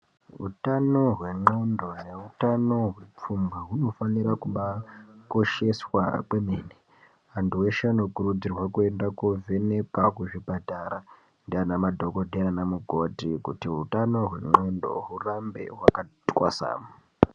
Utano hwendxondo neutano hwepfungwa hunofanira kubaakosheswa kwemene. Antu eshe anokurudzirwa kuenda koovhenekwa kuzvipatara ndiana madhokotera naana mukoti kuti utano hwendxondo hurambe hwakati twasamu.